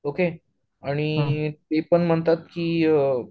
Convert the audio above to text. okay आणि ते पण म्हणतात की